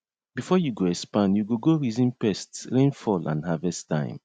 before you go expand you go go reason pests rainfall and harvest time